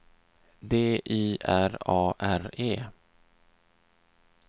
D Y R A R E